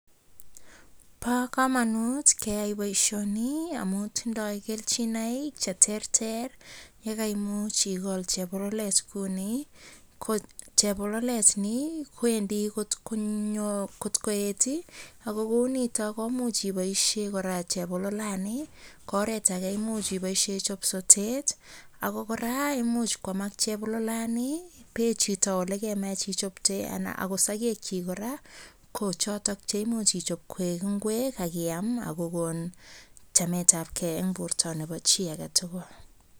Bo kamanut keyai boisioni amun tindoi keljinoik cheterter. Ye kaimuch igol chebololet kuni ko chobolelet ni kwendi kot koet ii ak kounito koimuch iboisien kora chebololani. Ko oret age ko imuch iboisien icho sotet ago kora imuch kwamak chebololani, pein chito olegemach ichopte an akot sogekyik kora kochoto che imuch ichop koeg ingwek ak iam ak kogon chamet abkei eng borta nebo chi age tugul.